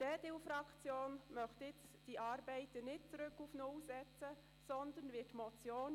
Die EDU-Fraktion möchte die Arbeiten daran nicht zurück auf null setzen.